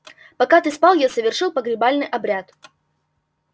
пока ты спал я совершил погребальный обряд